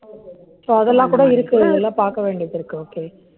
so அதெல்லாம் கூட இருக்கு. இதெல்லாம் பார்க்க வேண்டியது இருக்கு, okay